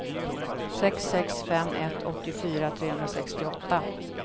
sex sex fem ett åttiofyra trehundrasextioåtta